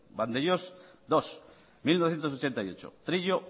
vandellós segundo mila bederatziehun eta laurogeita zortzi trillo